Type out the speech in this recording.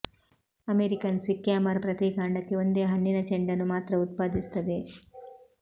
American sycamore ಪ್ರತಿ ಕಾಂಡಕ್ಕೆ ಒಂದೇ ಹಣ್ಣಿನ ಚೆಂಡನ್ನು ಮಾತ್ರ ಉತ್ಪಾದಿಸುತ್ತದೆ